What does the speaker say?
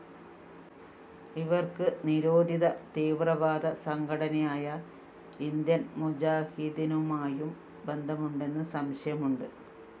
ഇവര്‍ക്ക് നിരോധിത തീവ്രവാദ സംഘടനയായ ഇന്ത്യന്‍ മുജാഹിദ്ദീനുമായും ബന്ധമുണ്ടെന്ന് സംശയമുണ്ട്